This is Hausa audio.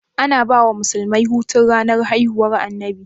Ana bawa musulmai Hutu ranar haihuwar annabi?